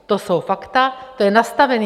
To jsou fakta, to je nastavené.